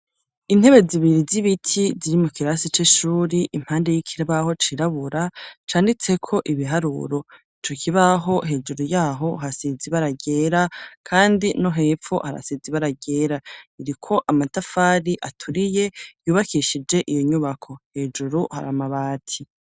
Intebe zibiri z'ibiti ziri mu kirasi c'ishuri impande y'ikibaho cirabura canditse ko ibiharuro icukibaho hejuru yaho hasizi baragera kandi no hepfo harasizi bara ryera iriko amatafari aturiye yubakishije iyo nyubako hejuru har amabati.